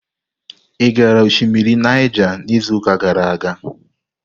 Ị gara osimiri Naija n'izuụka gara aga?